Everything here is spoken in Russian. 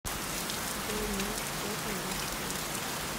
джой умножить пять на двадцать восемь